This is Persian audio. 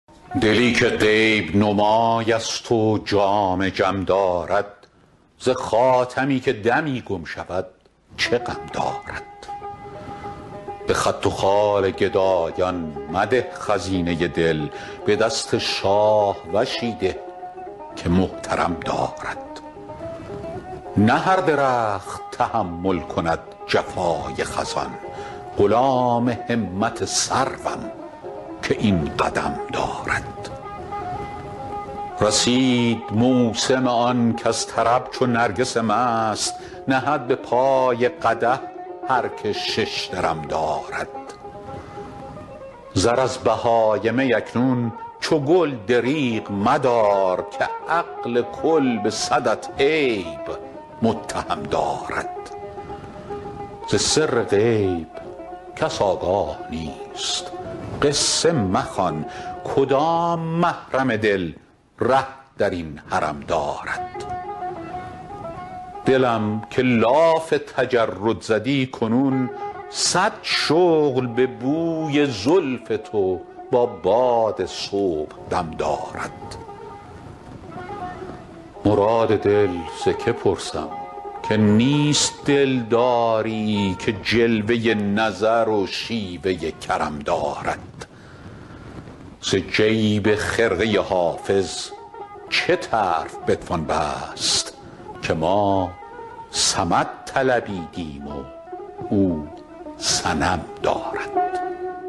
دلی که غیب نمای است و جام جم دارد ز خاتمی که دمی گم شود چه غم دارد به خط و خال گدایان مده خزینه دل به دست شاهوشی ده که محترم دارد نه هر درخت تحمل کند جفای خزان غلام همت سروم که این قدم دارد رسید موسم آن کز طرب چو نرگس مست نهد به پای قدح هر که شش درم دارد زر از بهای می اکنون چو گل دریغ مدار که عقل کل به صدت عیب متهم دارد ز سر غیب کس آگاه نیست قصه مخوان کدام محرم دل ره در این حرم دارد دلم که لاف تجرد زدی کنون صد شغل به بوی زلف تو با باد صبحدم دارد مراد دل ز که پرسم که نیست دلداری که جلوه نظر و شیوه کرم دارد ز جیب خرقه حافظ چه طرف بتوان بست که ما صمد طلبیدیم و او صنم دارد